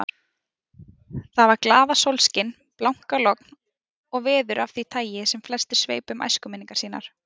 Það var glaðasólskin, blankalogn, veður af því tagi sem flestir sveipa um æskuminningar sínar.